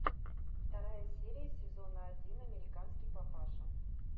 вторая серия сезона один американский папаша